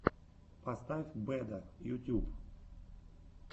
поставь бэда ютьюб